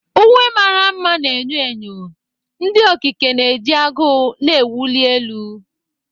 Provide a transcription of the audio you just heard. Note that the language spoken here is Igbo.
Uwe mara mma na enyo enyo, ndị okike na-eji agụụ na-ewuli elu.